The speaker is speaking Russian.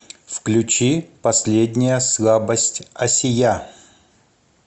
включи последняя слабость асия